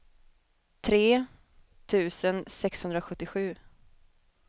tre tusen sexhundrasjuttiosju